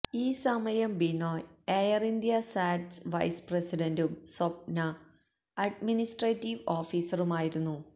ഈ സമയം ബിനോയ് എയർഇന്ത്യാ സാറ്റ്സ് വൈസ്പ്രസിഡന്റും സ്വപ്ന അഡ്മിനിസ്ട്രേറ്റീവ് ഓഫീസറുമായിരുന്നു